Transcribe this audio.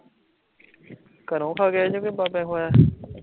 ਘਰੋਂ ਖਾ ਕੇ ਆਏ ਜੇ ਕੇ ਬਾਬੇ ਖਵਾਯਾ ਐ